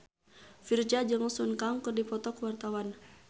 Virzha jeung Sun Kang keur dipoto ku wartawan